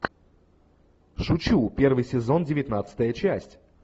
шучу первый сезон девятнадцатая часть